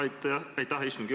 Aitäh, istungi juhataja!